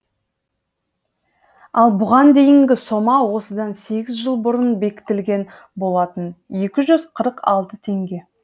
ал бұған дейінгі сома осыдан сегіз жыл бұрын бекітілген болатын екі жүз қырық алты теңге